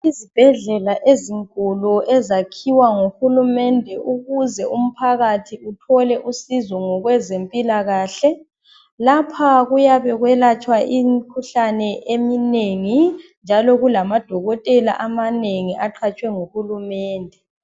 Izibhedlela ezinkulu ezakhiwa nguHulumende ukuze umphakathi uthole usizo ngokwezempilakahle lapha kuyabe kwelatshwa imikhuhlane eminengi njalo kulamadokotela amanengi aqhatshwe nguHulumende.